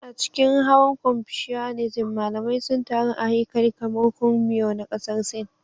A cikin hawan Confucianism, malamai sun taru a haikali kamar Kong Miao na Ƙasar Sin.